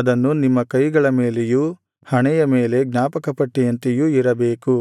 ಅದನ್ನು ನಿಮ್ಮ ಕೈಗಳ ಮೇಲೆಯೂ ಹಣೆಯ ಮೇಲೆ ಜ್ಞಾಪಕಪಟ್ಟಿಯಂತೆಯೂ ಇರಬೇಕು